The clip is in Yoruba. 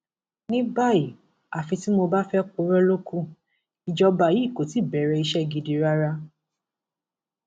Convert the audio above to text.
ní báyìí àfi tí mo bá fẹẹ purọ ló kù ìjọba yìí kó tí ì bẹrẹ iṣẹ gidi rárá